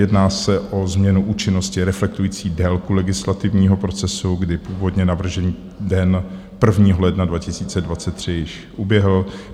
Jedná se o změnu účinnosti reflektující délku legislativního procesu, kdy původně navržený den 1. ledna 2023 již uběhl.